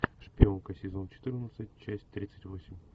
шпионка сезон четырнадцать часть тридцать восемь